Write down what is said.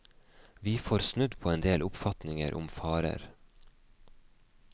Vi får snudd på en del oppfatninger om farer.